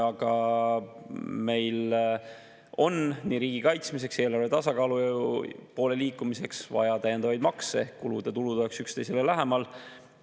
Aga meil on nii riigi kaitsmiseks kui ka eelarve tasakaalu poole liikumiseks vaja täiendavaid makse ehk seda, et kulud ja tulud oleksid üksteisele lähemal.